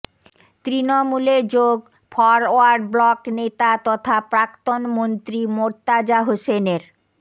তৃণমূলে যোগ forward bloc নেতা তথা প্রাক্তন মন্ত্রী মোর্তাজা হোসেনের